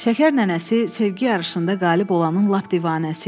Şəkər nənəsi sevgi yarışında qalib olanın lap divanəsi idi.